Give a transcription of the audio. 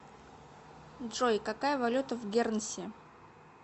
джой какая валюта в гернси